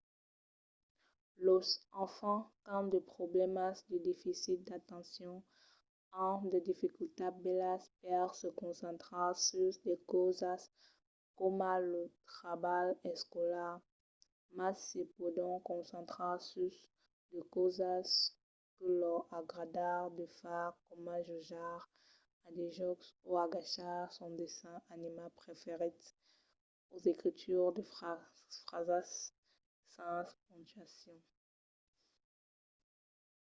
los enfants qu'an de problèmas de deficit d'atencion an de dificultats bèlas per se concentrar sus de causas coma lo trabalh escolar mas se pòdon concentrar sus de causas que lor agrada de far coma jogar a de jòcs o agachar sos dessenhs animats preferits o escriure de frasas sens pontuacion